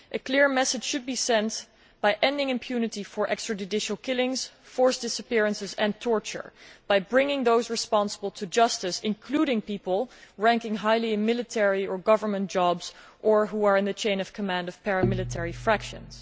A clear message should be sent by ending impunity for extra judicial killings, forced disappearances and torture by bringing those responsible to justice, including people with high ranking military or government jobs or who are in the chain of command of paramilitary factions.